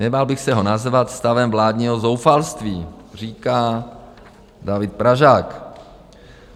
Nebál bych se ho nazvat stavem vládního zoufalství, říká David Pražák.